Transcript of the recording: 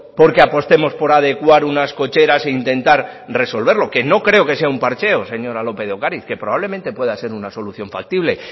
porque apostemos por adecuar unas cocheras e intentar resolverlo que no creo que sea un parcheo señora lópez de ocariz que probablemente pueda ser una solución factible